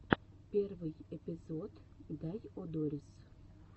первый эпизод дайодорис